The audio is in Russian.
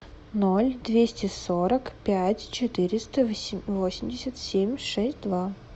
ноль двести сорок пять четыреста восемьдесят семь шесть два